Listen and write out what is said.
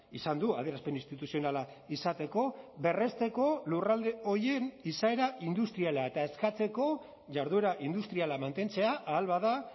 izan du adierazpen instituzionala izateko berresteko lurralde horien izaera industriala eta eskatzeko jarduera industriala mantentzea ahal bada